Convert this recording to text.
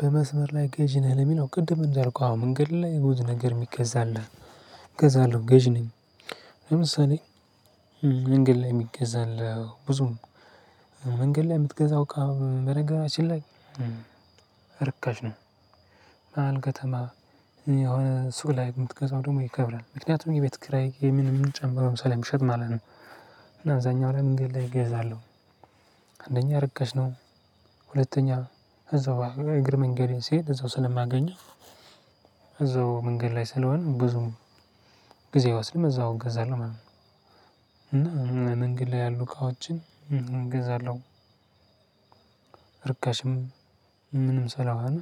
በመስመር ላይ ገዥ ነህ ለሚለው ቅድም እንዳልኩህ አዎ መንገድ ላይ ብዙ ነገር የሚገዛ አለ። እገዛለሁ ገዥ ነኝ። ለምሳሌ መንገድ ላይ የሚገዛ አለ ብዙ ነው። መንገድ ላይ የምትገዛውን በነገራችን ላይ። ርካሽ ነው። መሃል ከተማ የሆነ ሱቅ ላይ የምትገዛው ደግሞ ይከብዳል ምክንያቱም የቤት ክራይ የምን ጨምረው ስለ ሚሸጡ ማለት ነው። እና አብዛኛው ላይ መንገድ ላይ እገዛለሁ። አንደኛ ርከሽ ነው ሁለተኛ እዛው እግር መንገዴን ስሄድ እዛው ስለማገኜው። እዛው መንገድ ላይ ስለሆነ ብዙም ጊዜ ወ አይወስደም እዛው እገዛለሁ ማለት ነው። እና መንገድ ላይ ያሉ ቃዎችን እገዛለሁ። እርካሽም ምንም ሰላም